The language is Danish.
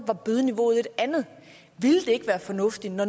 var bødeniveauet et andet ville det ikke være fornuftigt når